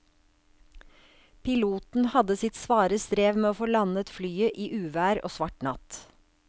Piloten hadde sitt svare strev med å få landet flyet i uvær og svart natt.